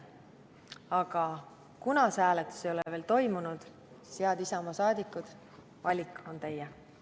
Aga kuna see hääletus ei ole veel toimunud, siis, head Isamaa saadikud, valik on teie.